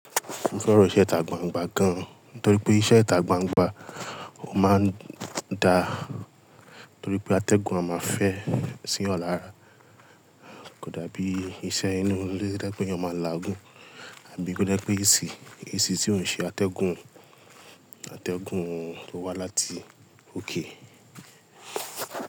Mo fẹ́ràn iṣẹ́ ìta gbangba gan, nítorí pé iṣẹ́ ìta gbangba ó máa ń da, nítorí pé atẹ́gùn a máa fẹ́ sí eeyan lára. Kódà bí iṣẹ́ inú ilé to je pe ẹeyan má la Ògún, àbí kò je pé AC, AC tí ò ń ṣe atẹ́gùn, atẹ́gùn tó wá láti òkè.